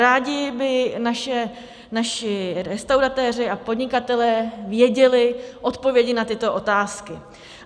Rádi by naši restauratéři a podnikatelé věděli odpovědi na tyto otázky.